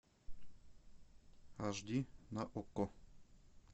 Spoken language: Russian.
аш ди на окко